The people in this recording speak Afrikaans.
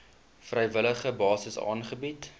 vrywillige basis aangebied